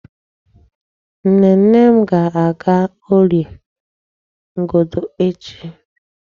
Nnenne m ga-aga Órìè Ngodo echi.